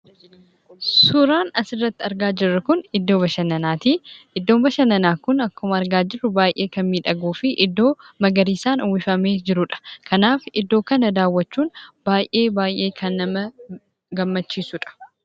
Suuraan asirratti argaa jirru kun iddoo bashannanaa ti. Iddoon bashannanaa kun akkuma argaa jirru baay'ee kan miidhaguu fi iddoo magariisaan uwwifamee jiru dha. Kanaaf, iddoo kana daawwachuun baay'ee baay'ee kan nama gammachiisu dha.